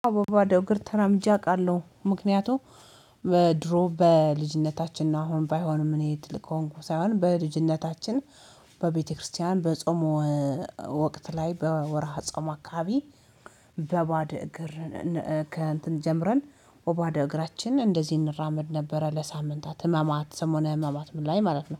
አዋ በባዶ እግር ተራምጄ አውቃለሁ ምክንያቱም በድሮ በልጅነታችን ነው። አሁን ባይሆንም እኔ ትልቅ ከሆንኩ ሳይሆን በልጅነታችን። በቤተክርስቲያን በጾም ወቅት ላይ በወርሃ ጾም አካባቢ በባደ እግር። ከእንትን ጀምረን በቦደ እግራችን እንደዚህ እንራመድ ነበረ። ለሳምንታት ህማማት ሰሞነ ህማማት ምን ላይ ማለት ነው